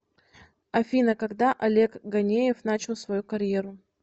афина когда олег ганеев начал свою карьеру